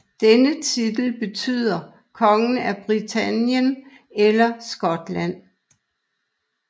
Denne titel betyder konge af Britannien eller Skotland